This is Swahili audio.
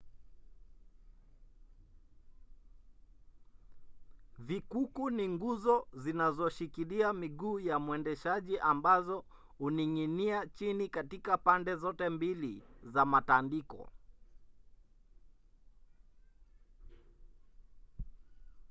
vikuku ni nguzo zinazoshikilia miguu ya mwendeshaji ambazo huning’inia chini katika pande zote mbili za matandiko